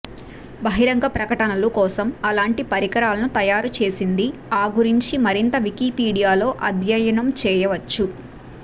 బహిరంగ ప్రకటనలు కోసం అలాంటి పరికరాలను తయారు చేసింది ఆ గురించి మరింత వికీపీడియాలో అధ్యయనం చేయవచ్చు